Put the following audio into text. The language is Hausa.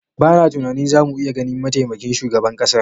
Bana tunanin zamu iya ganin mataimakin shugaban ƙasar.